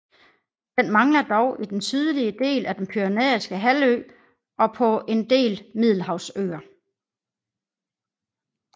Den mangler dog i den sydlige del af den Pyrenæiske halvø og på en del Middelhavsøer